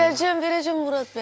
Verəcəm, verəcəm Murad bəy.